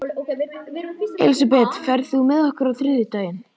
Elisabeth, ferð þú með okkur á þriðjudaginn?